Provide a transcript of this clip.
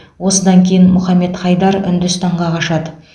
осыдан кейін мұхаммед хайдар үндістанға қашады